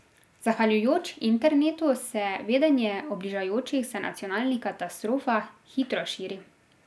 Zahvaljujoč internetu se vedenje o bližajočih se nacionalnih katastrofah hitro širi.